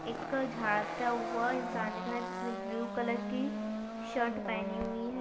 एक झाडता हुआ इंसान दिख रहा है जिसने ब्लू कलर की शर्ट पहनी हुई है।